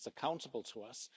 It's accountable to us.